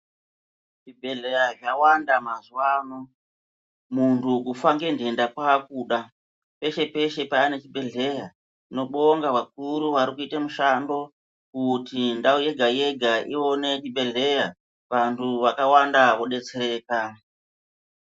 Zvibhehleya zvawanda mazuwa ano muntu kufa ngendenda kwakuda ,peshe peshe pane chibhehlera tinobongaa vakuru vari kuita mushando kuti ndau yega yega iwane chibhehleya vandu vakawanda vodetsereka.